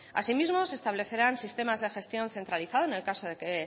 asimismo se establecerán sistemas de gestión centralizada en el caso de que